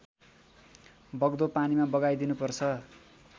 बग्दो पानीमा बगाइदिनुपर्छ